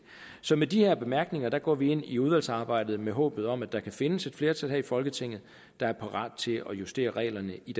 så med de her bemærkninger går vi ind i udvalgsarbejdet med håbet om at der kan findes et flertal her i folketinget der er parat til at justere reglerne i